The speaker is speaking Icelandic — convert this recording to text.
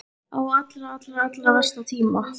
Á allra, allra, allra versta tíma!